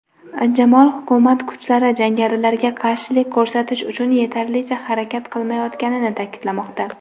Jamol hukumat kuchlari jangarilarga qarshilik ko‘rsatish uchun yetarlicha harakat qilmayotganini ta’kidlamoqda.